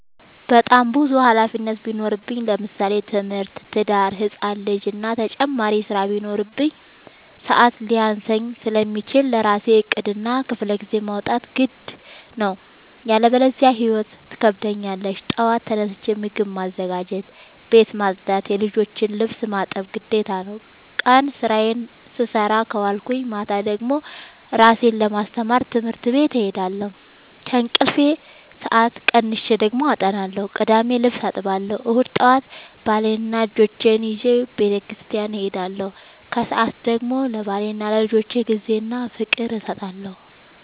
በጣም ብዙ ሀላፊነት ቢኖርብኝ ለምሳሌ፦ ትምህርት፣ ትዳር፣ ህፃን ልጂ እና ተጨማሪ ስራ ቢኖርብኝ። ሰዐት ሊያንሰኝ ስለሚችል ለራሴ ዕቅድ እና ክፍለጊዜ ማውጣት ግድ ነው። ያለበዚያ ህይወት ትከብደኛለች ጠዋት ተነስቼ ምግብ ማዘጋጀት፣ ቤት መፅዳት የልጆቼን ልብስ ማጠብ ግዴታ ነው። ቀን ስራዬን ስሰራ ከዋልኩኝ ማታ ደግሞ እራሴን ለማስተማር ትምህርት ቤት እሄዳለሁ። ከእንቅልፌ ሰአት ቀንሼ ደግሞ አጠናለሁ ቅዳሜ ልብስ አጥባለሁ እሁድ ጠዋት ባሌንና ልጆቼን ይዤ በተስኪያን እሄዳለሁ። ከሰዓት ደግሞ ለባሌና ለልጆቼ ጊዜ እና ፍቅር እሰጣለሁ።